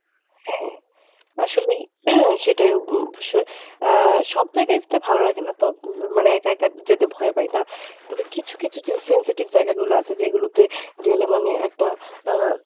হ্যাঁ আসলেই। সেটাই অব~ অবশ্যই। এর সব জায়গায় যেতে ভালো লাগে না তবে মানে একা একা যেতে ভয় পাই না তবে কিছু কিছু যেই sensitive জায়গাগুলো আছে যেগুলোতে গেলে মানে একটা আহ